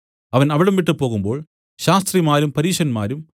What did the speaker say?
അവൻ അവിടംവിട്ട് പോകുമ്പോൾ ശാസ്ത്രിമാരും പരീശന്മാരും